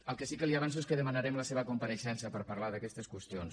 el que sí que li avanço és que demanarem la seva compareixença per parlar d’aquestes qüestions